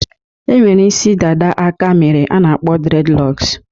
E nwere isi dada aka mere a na akpọ dreadlocks.